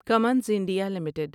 Cummins India limited